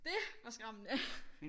Det var skræmmende